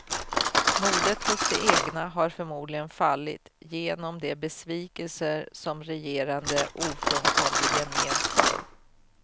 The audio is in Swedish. Modet hos de egna har förmodligen fallit, genom de besvikelser som regerande ofrånkomligen medför.